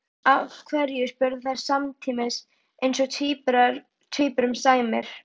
Af hverju? spurðu þær samtímis eins og tvíburum sæmir.